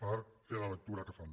per fer la lectura que fan